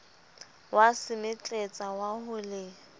wa semetletsa wa ho le